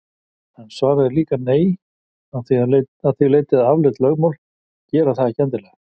En svarið er líka nei að því leyti að afleidd lögmál gera það ekki endilega.